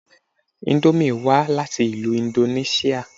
Íńdómì wá láti ìlú indonẹṣia